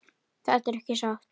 Þetta er ekki satt!